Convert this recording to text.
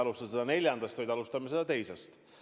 Me mitte ei alusta neljandast, vaid alustame teisest päevast.